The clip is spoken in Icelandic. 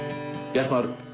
Bjartmar